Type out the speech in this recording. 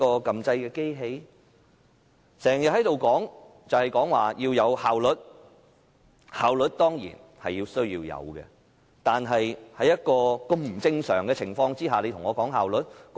他們經常在這裏說要有效率，效率當然需要，但是在如此不正常的情況下，說效率？